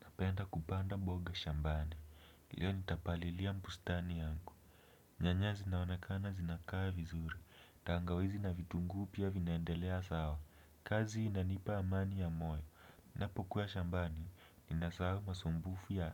Napenda kupanda mboga shambani, hiyo nitapalilia bustani yangu. Nyanya zinaonekana zinakaa vizuri, tangawizi na vitunguu pia vinaendelea sawa. Kazi inanipa amani ya moyo, ninapokuwa shambani, ninasahau masumbufu ya